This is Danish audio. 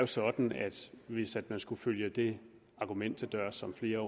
sådan at hvis man skulle følge det argument til dørs som flere